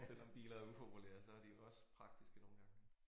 Selvom biler er upopulære så er de jo også praktiske nogle gange